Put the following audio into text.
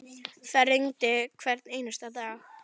Það rigndi hvern einasta dag.